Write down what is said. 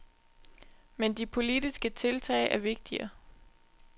Men de politiske tiltag er vigtigere.